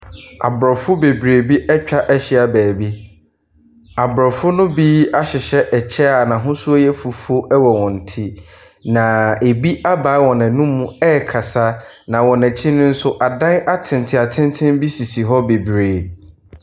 Abrɔfo bebree bi ɛtwa ahyia baabi abrɔfo no bi ahyehyɛ ɛkyɛ a n'ahosuo yɛ fufuo ɛwɔ wɔn ti. Na ebi abai wɔn ɛnum ɛkasa. Na wɔnɛkyi no nso adan atenten atenten bi sisi hɔ bebree.